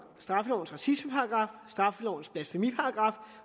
straffelovens racismeparagraf straffelovens blasfemiparagraf